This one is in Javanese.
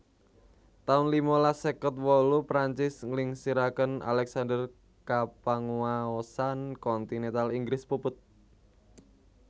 taun limalas seket wolu Perancis nglingsiraken Alexander kapanguwaosan kontinental Inggris puput